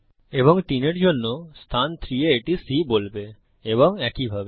এবং তিনের জন্য অবস্থান 3 এ এটি C বলবে এবং একইভাবে